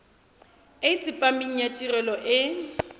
e tsepameng ya tirelo e